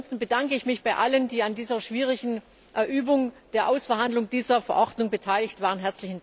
Ansonsten bedanke ich mich bei allen, die an dieser schwierigen Übung der Aushandlung dieser Verordnung beteiligt waren.